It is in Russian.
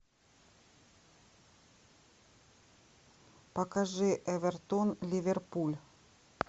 покажи эвертон ливерпуль